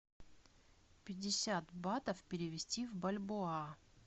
пятьдесят батов перевести в бальбоа